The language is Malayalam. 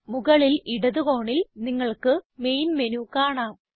മുകളിൽ ഇടത് കോണിൽ നിങ്ങൾക്ക് മെയിൻ മെനു കാണാം